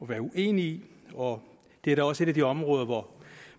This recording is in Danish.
være uenig i og det er da også et af de områder hvor